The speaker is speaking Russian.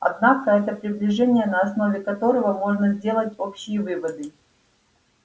однако это приближение на основе которого можно сделать общие выводы